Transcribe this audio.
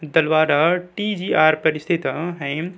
Dhalwara TG. R पर स्थित ह --